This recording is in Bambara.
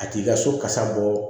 A t'i ka so kasa bɔ